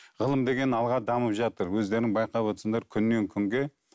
ғылым деген алға дамып жатыр өздерің байқап отырсыңдар күннен күнге